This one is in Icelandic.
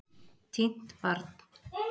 Týnt barn